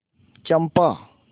चंपा